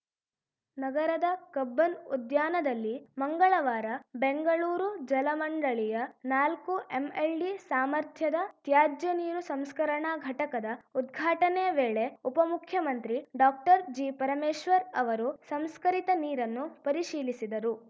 ನಗರದ ಕಬ್ಬನ್‌ ಉದ್ಯಾನದಲ್ಲಿ ಮಂಗಳವಾರ ಬೆಂಗಳೂರು ಜಲಮಂಡಳಿಯ ನಾಲ್ಕು ಎಂಎಲ್‌ಡಿ ಸಾಮರ್ಥ್ಯದ ತ್ಯಾಜ್ಯ ನೀರು ಸಂಸ್ಕರಣಾ ಘಟಕದ ಉದ್ಘಾಟನೆ ವೇಳೆ ಉಪಮುಖ್ಯಮಂತ್ರಿ ಡಾಕ್ಟರ್ಜಿಪರಮೇಶ್ವರ್‌ ಅವರು ಸಂಸ್ಕರಿತ ನೀರನ್ನು ಪರಿಶೀಲಿಸಿದರು